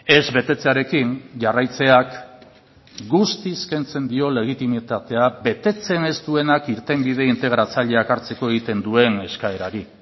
ez betetzearekin jarraitzeak guztiz kentzen dio legitimitatea betetzen ez duenak irtenbide integratzaileak hartzeko egiten duen eskaerari